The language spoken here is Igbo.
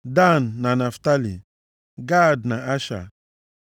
Dan, na Naftalị; Gad na Asha.